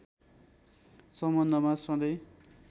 सम्बन्धमा सधैं